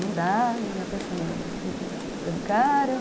Não dá, eu me apaixonei pelo cara.